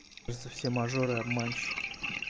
просто все мажоры обманщики